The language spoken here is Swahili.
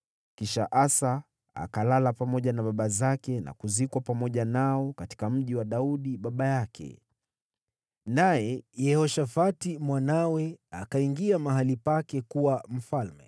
Kisha Asa akalala pamoja na baba zake na kuzikwa pamoja nao katika mji wa Daudi baba yake. Naye Yehoshafati mwanawe akawa mfalme baada yake.